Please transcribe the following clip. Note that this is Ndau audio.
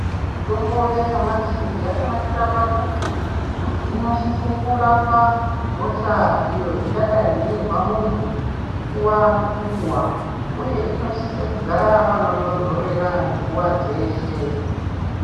Mitombo yanyamashi yakanakira pakuti inosise kurapa hosha iyo ingadai yeizwa muntu nguva ngenguva uye inosisa kugara panotondorera nguva dzeshe.